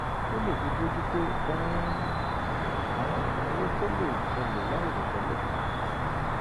kó lè fi bójú tó um àwọn ìnáwó tó lè ṣẹlẹ̀ láìròtẹ́lẹ̀ láìròtẹ́lẹ̀